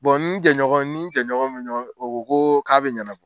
ni in jɛɲɔgɔn in ni n jɛɲɔgɔn min bɛ ɲɔgɔn fɛ o ko ko k'a bɛ ɲɛnabɔ.